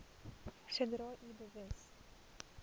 sodra u bewus